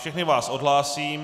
Všechny vás odhlásím.